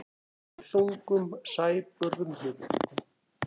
Með þungum sæbörðum hnullungum.